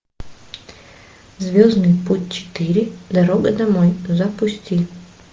звездный путь четыре дорога домой запусти